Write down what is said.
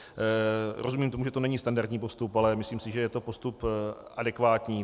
Rozumím tomu, že to není standardní postup, ale myslím si, že je to postup adekvátní.